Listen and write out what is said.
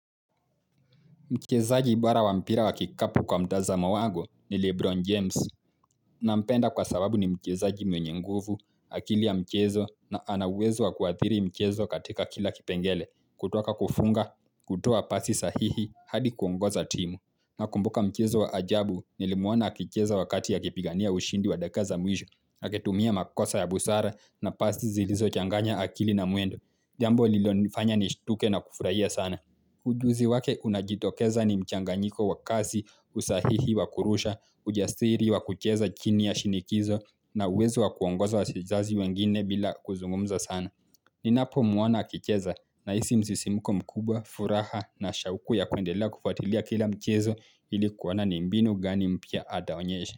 Mchezaji bora wa mpira wa kikapu kwa mtaza wangu ni Lebron James na mpenda kwa sababu ni mchezaji mwenye nguvu, akili ya mchezo na ana uwezo wa kuathiri mchezo katika kila kipengele kutoka kufunga, kutoa pasi sahihi hadi kuongoza timu na kumbuka mchezo wa ajabu ni limuona akicheza wakati ya kipigania ushindi wa dakika za mwisho akitumia makosa ya busara na pasi zilizo changanya akili na mwendo. Jambo lililonifanya nishtuke na kufurahia sana. Ujuzi wake unajitokeza ni mchanganyiko wa kazi, usahihi wa kurusha, ujasiri wa kucheza chini ya shinikizo na uwezo wa kuongoza wachezaji wengine bila kuzungumza sana. Ninapomuona akicheza na hisi msisimuko mkubwa, furaha na shauku ya kuendela kufatilia kila mchezo ili kuoana ni mbinu gani mpya ataonyesha.